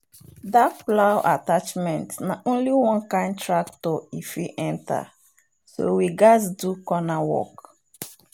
that plow attachment na only one kind tractor e fit enter so we gatz do corner work.